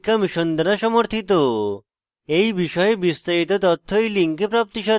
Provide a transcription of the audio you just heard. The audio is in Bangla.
এই বিষয়ে বিস্তারিত তথ্য এই link প্রাপ্তিসাধ্য